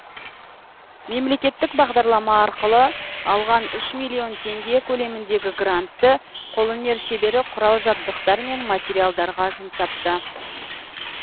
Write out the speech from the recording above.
мемлекеттік бағдарлама арқылы алған үш миллион теңге көлеміндегі грантты қолөнер шебері құрал жабдықтар мен материалдарға жұмсапты